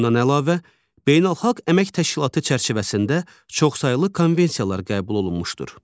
Bundan əlavə, Beynəlxalq Əmək Təşkilatı çərçivəsində çoxsaylı konvensiyalar qəbul olunmuşdur.